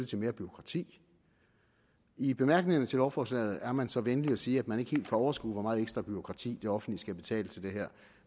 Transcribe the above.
til mere bureaukrati i bemærkningerne til lovforslaget er man så venlig at sige at man ikke helt kan overskue hvor meget ekstra bureaukrati det offentlige skal betale til det her